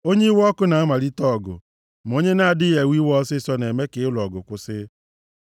Onye iwe ọkụ na-amalite ọgụ; ma onye na-adịghị ewe iwe ọsịịsọ na-eme ka ịlụ ọgụ kwụsị.